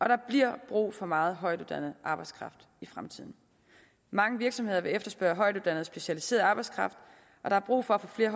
der bliver brug for meget højtuddannet arbejdskraft i fremtiden mange virksomheder vil efterspørge højtuddannet og specialiseret arbejdskraft og der er brug for at få flere